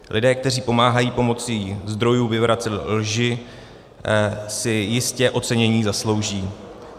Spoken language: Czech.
Lidé, kteří pomáhají pomocí zdrojů vyvracet lži, si jistě ocenění zaslouží.